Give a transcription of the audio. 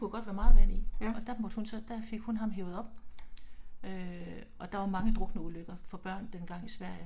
Ja